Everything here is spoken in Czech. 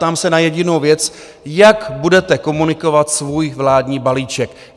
Ptám se na jedinou věc: Jak budete komunikovat svůj vládní balíček?